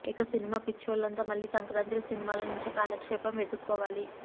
ఇక సినిమా పిచ్చోళ్లంతా మళ్లీ సంక్రాంతి సినిమాల నుంచే కాలక్షేపం వెతుక్కోవాలి